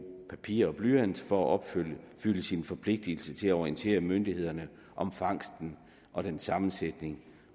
papir og blyant for at opfylde forpligtelsen til at orientere myndighederne om fangsten og dens sammensætning